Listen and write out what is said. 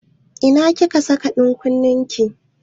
Ina kika saka ɗan kunnen ki?